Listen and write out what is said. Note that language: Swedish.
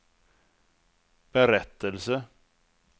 berättelse